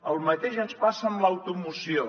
el mateix ens passa amb l’automoció